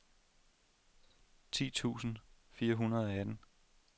ti tusind fire hundrede og atten